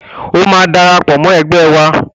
O máa darapọ̀ mọ́ ẹgbẹ́ wa